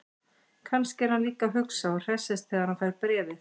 Kannski er hann líka að hugsa og hressist þegar hann fær bréfið.